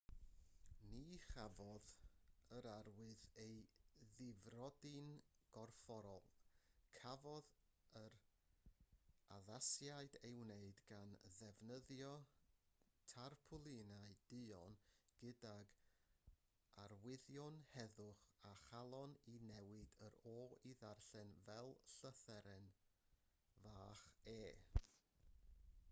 ni chafodd yr arwydd ei ddifrodi'n gorfforol cafodd yr addasiad ei wneud gan ddefnyddio tarpwlinau duon gydag arwyddion heddwch a chalon i newid yr o i ddarllen fel llythyren fach e